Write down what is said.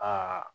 Aa